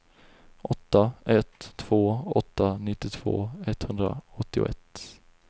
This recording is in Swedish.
åtta ett två åtta nittiotvå etthundraåttioett